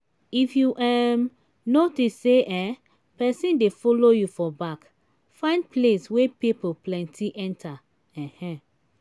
if you um notice say um pesin dey follow you for back find place wey pipo plenty enter. um